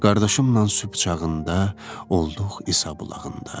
Qardaşımla sübh çağında olduq İsa bulağında.